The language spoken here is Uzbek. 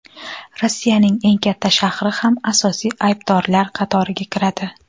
Rossiyaning eng katta shahri ham asosiy aybdorlar qatoriga kiradi.